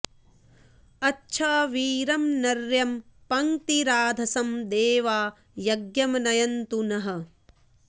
अच्छा॑ वी॒रं नर्यं॑ प॒ङ्क्तिरा॑धसं दे॒वा य॒ज्ञं न॑यन्तु नः